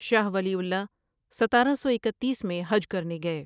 شاہ ولی اللہ ستارہ سو اکتیس میں حج کرنے گئے ۔